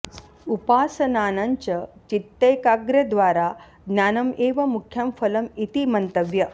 उपासनानां च चितैकाग्र्यद्वारा ज्ञानं एव मुख्यं फलं इति मन्तव्य